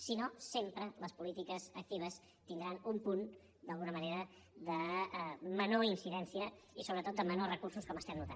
si no sempre les polítiques actives tindran un punt d’alguna manera de menor incidència i sobretot de menors recursos com notem